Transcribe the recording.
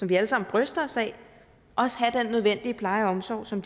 vi alle sammen bryster os af også have den pleje og omsorg som